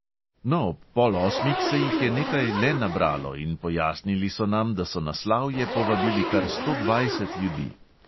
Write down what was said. No, ob pol osmih se jih je nekaj le nabralo in pojasnili so nam, da so na slavje povabili kar sto dvajset ljudi.